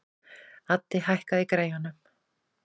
Addi, hækkaðu í græjunum.